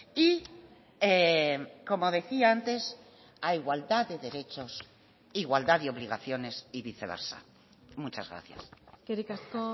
y como decía antes a igualdad de derechos igualdad de obligaciones y viceversa muchas gracias eskerrik asko